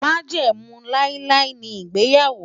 Májẹ̀mú láíláí ni ìgbéyàwó.